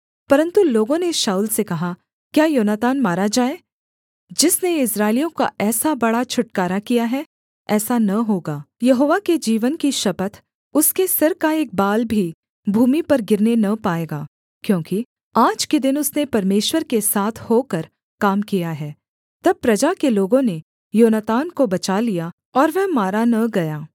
परन्तु लोगों ने शाऊल से कहा क्या योनातान मारा जाए जिसने इस्राएलियों का ऐसा बड़ा छुटकारा किया है ऐसा न होगा यहोवा के जीवन की शपथ उसके सिर का एक बाल भी भूमि पर गिरने न पाएगा क्योंकि आज के दिन उसने परमेश्वर के साथ होकर काम किया है तब प्रजा के लोगों ने योनातान को बचा लिया और वह मारा न गया